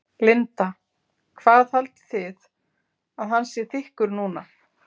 Linda: Hvað haldið þið að hann sé þykkur núna?